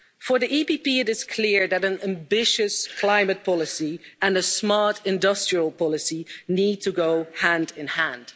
For the EPP it is clear that an ambitious climate policy and a smart industrial policy need to go hand in hand.